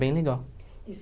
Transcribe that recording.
bem legal. E